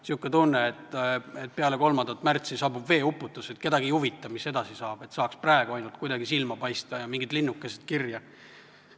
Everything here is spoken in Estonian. Niisugune tunne on, et peale 3. märtsi saabub veeuputus, kedagi ei huvita, mis edasi saab, saaks praegu ainult kuidagi silma paista ja mingid linnukesed kirja.